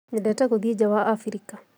Nyendete gũthiĩ nja wa Abirika